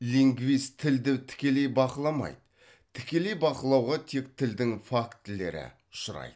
лингвист тілді тікелей бақыламайды тікелей бақылауға тек тілдің фактілері ұшырайды